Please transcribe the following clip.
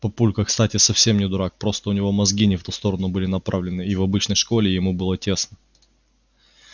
папулька кстати совсем не дурак просто у него мозги не в ту сторону были направлены и в обычной школе ему было тесно